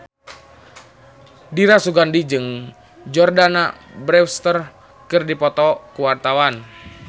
Dira Sugandi jeung Jordana Brewster keur dipoto ku wartawan